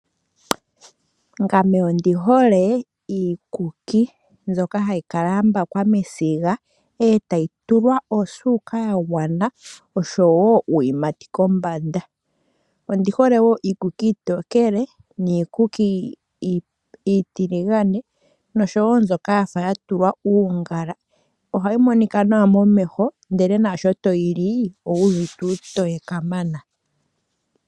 Ngame ondi hole iikuki mbyoka ha yi kambakwa mesiga, eta yi tulwa osuuka ya gwana oshowo uuyimati kombanda. Ondihole wo iikuki iitokele, niikuki iitiligane noshowo mbyoka yafa yatulwa uungala. Ohayi monika nawa momeho ndele naasho to yi li owuuvite uutoye kamana.